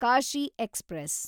Kashi express